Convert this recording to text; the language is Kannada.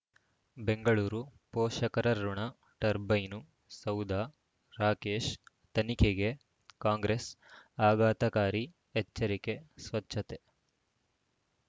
ಬೆಂಗಳೂರು ಪೋಷಕರಋಣ ಟರ್ಬೈನು ಸೌಧ ರಾಕೇಶ್ ತನಿಖೆಗೆ ಕಾಂಗ್ರೆಸ್ ಆಘಾತಕಾರಿ ಎಚ್ಚರಿಕೆ ಸ್ವಚ್ಛತೆ